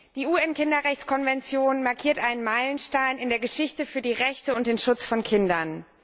Die UN Kinderrechtskonvention markiert einen Meilenstein in der Geschichte für die Rechte und den Schutz von Kindern.